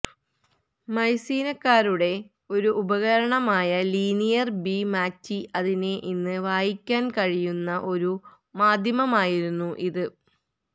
മൈസീനക്കാരുടെ ഒരു ഉപകരണമായ linear B മാറ്റി അതിനെ ഇന്ന് വായിക്കാൻ കഴിയുന്ന ഒരു മാദ്ധ്യമമായിരുന്നു ഇത്